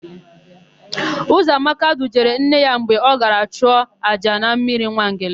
Ụzọamaka dujere nne ya mgbe ọ gara chụọ àjà na mmiri Nwangele.